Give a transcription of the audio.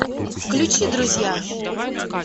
включи друзья